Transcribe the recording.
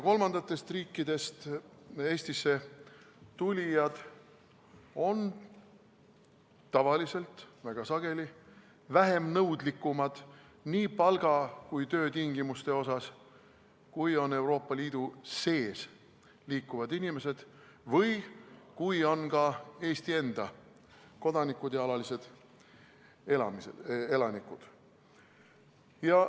Kolmandatest riikidest Eestisse tulijad on väga sageli nii palga kui ka töötingimuste suhtes vähem nõudlikud, kui on Euroopa Liidu sees liikuvad inimesed või ka Eesti enda kodanikud ja alalised elanikud.